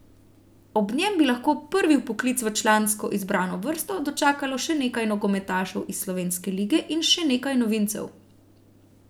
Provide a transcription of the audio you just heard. Ob njem bi lahko prvi vpoklic v člansko izbrano vrsto dočakalo še nekaj nogometašev iz slovenske lige in še nekaj novincev.